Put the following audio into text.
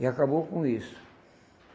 E acabou com isso.